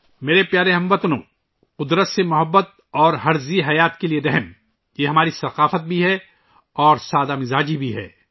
میرے پیارے ہم وطنو، فطرت سے محبت اور ہر جاندار کے لئے ہمدردی، یہ ہماری ثقافت بھی ہے اور ہماری فطرت بھی ہے